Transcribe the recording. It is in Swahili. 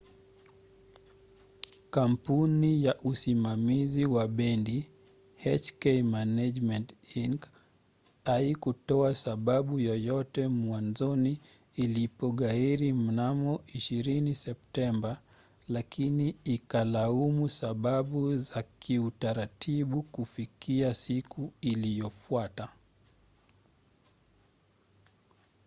kampuni ya usimamizi wa bendi hk management inc. haikutoa sababu yoyote mwanzoni ilipoghairi mnamo 20 septemba lakini ikalaumu sababu za kiutaratibu kufikia siku iliyofuata